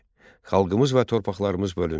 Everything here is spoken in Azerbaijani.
Xalqımız və torpaqlarımız bölündü.